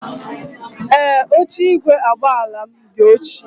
Ee, oche igwe agbala m di ochie.